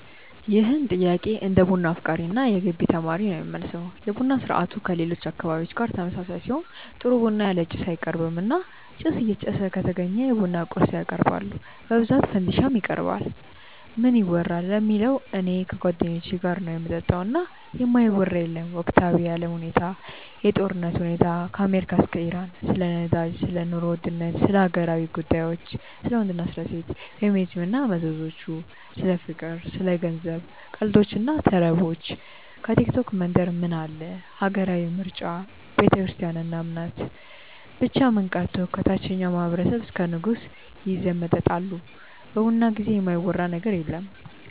ይህን ጥያቄ እንደ ቡና አፍቃሪ እና የገቢ ተማሪ ነው የምመልሰው። የቡና ስርአቱ ከሌሎች አካባቢዎች ጋር ተመሳሳይ ሲሆን ጥሩ ቡና ያለ ጭስ አይቀርብም እና ጭስ እየጨሰ ከተገኘ የቡና ቁርስ ያቀርባሉ በብዛት ፈንዲሻ ይቀርባል። ምን ይወራል ለሚለው እኔ ከጓደኞቼ ጋር ነው ምጠጣው እና የማይወራ የለም ወቅታዊ የአለም ሁኔታ፣ የጦርነቱ ሁኔታ ከአሜሪካ እስከ ኢራን፣ ስለ ነዳጅ፣ ስለ ኑሮ ውድነት፣ ስለ ሀገራዊ ጉዳዮች፣ ስለ ወንድ እና ሴት፣ ፌሚኒዝም እና መዘዞቹ፣ ስለ ፍቅር፣ ስለ ገንዘብ፣ ቀልዶች እና ተረቦች፣ ከቲክቶክ መንደር ምን አለ፣ ሀገራዊ ምርጫ፣ ቤተክርስትያን እና እምነት፣ ብቻ ምን ቀርቶ ከታቸኛው ማህበረሰብ እስከ ንጉሱ ይዘመጠጣሉ በቡና ጊዜ የማይወራ ነገር የለም።